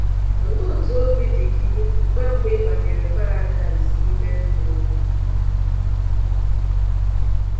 Olee otú obi dị gị mgbe mbụ i banyere paradaịs ime mmụọ?